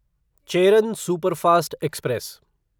Cheran superfast express